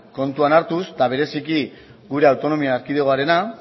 kontuan hartuz eta bereziki gure autonomia erkidegoarena